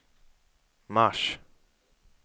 mars